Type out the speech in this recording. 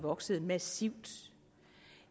vokset massivt